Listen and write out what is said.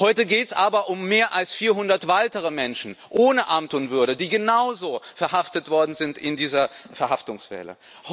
Heute geht es aber um mehr als 400 weitere Menschen ohne Amt und Würden, die genauso verhaftet worden sind in dieser Verhaftungswelle.